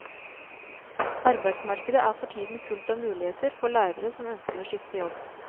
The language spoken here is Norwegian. Arbeidsmarkedet er for tiden fullt av muligheter for lærere som ønsker å skifte jobb.